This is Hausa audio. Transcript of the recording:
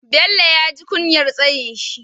Bello ya ji kunyar tsayinsa.